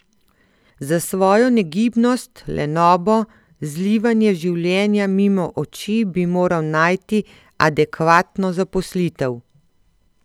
Za svojo negibnost, lenobo, zlivanje življenja mimo oči bi moral najti adekvatno zaposlitev.